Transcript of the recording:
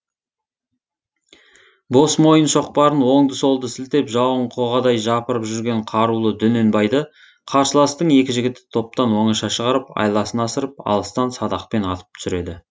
бос мойын шоқпарын оңды солды сілтеп жауын қоғадай жапырып жүрген қарулы дөненбайды қарсыластың екі жігіті топтан оңаша шығарып айласын асырып алыстан садақпен атып түсіреді